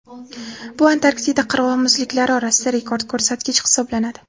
Bu Antarktida qirg‘oq muzliklari orasida rekord ko‘rsatkich hisoblanadi.